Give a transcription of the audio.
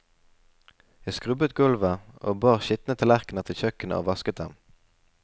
Jeg skrubbet gulvet og bar skitne tallerkener til kjøkkenet og vasket dem.